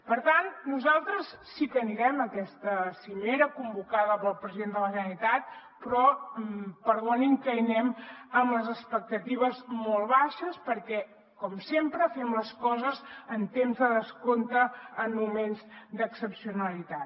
per tant nosaltres sí que anirem a aquesta cimera convocada pel president de la generalitat però perdonin que hi anem amb les expectatives molt baixes perquè com sempre fem les coses en temps de descompte en moments d’excepcionalitat